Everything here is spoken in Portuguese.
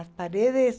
As paredes...